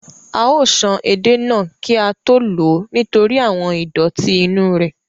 A ó san edé náà kí á tó lò ó nítorí àwọn ìdọ̀tí inú rẹ̀